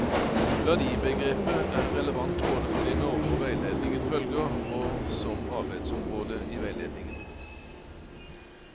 Verdibegrepet er relevant både for de normer veiledningen følger, og som arbeidsområde i veiledningen.